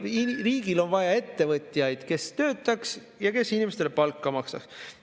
Riigil on vaja ettevõtjaid, kes töötaks ja kes inimestele palka maksaks.